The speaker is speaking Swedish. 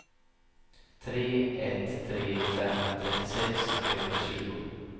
tre ett tre fem trettiosex trehundratjugo